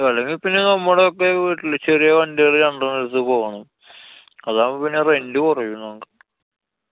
അല്ലെങ്കില്‍ പിന്നെ നമ്മടൊക്കെ വീട്ടിലെ ചെറിയ വണ്ടികള് രണ്ടെണ്ണം എടുത്ത് പോണം. അതാവുമ്പൊ പിന്നെ rent കൊറയും നമുക്ക്